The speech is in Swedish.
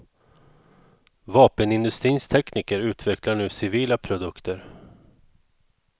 Vapenindutrins tekniker utvecklar nu civila produkter.